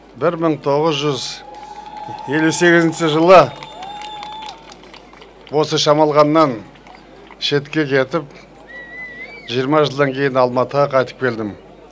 бір мың тоғыз жүз елу сегізінші жылы осы шамалғаннан шетке кетіп жиырма жылдан кейін алматыға қайтып келдім